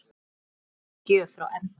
Sérstök gjöf frá Ebba.